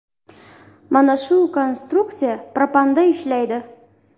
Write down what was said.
Mana shu konstruksiya propanda ishlaydi.